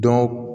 Dɔn